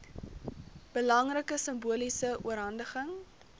belangrike simboliese oorhandiging